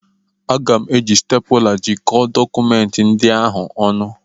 Aga m eji stepụla jikọọ dọkụmenti ndị ahụ ọnụ.